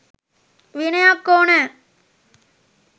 විනයක් ඕනැ.